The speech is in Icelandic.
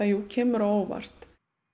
kemur á óvart